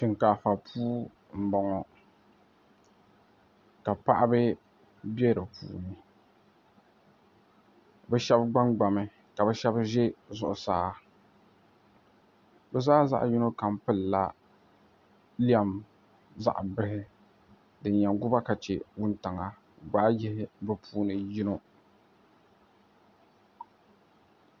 shinkaafa puu m-bɔŋɔ ka paɣiba be di puuni bɛ shɛba gbangbami ka bɛ shɛba za zuɣusaa bɛ zaa zaɣ' yino kam pilila lɛm zaɣ' bihi din yɛn gu ba ka che wuntaŋa gbaai yihi bɛ puuni yino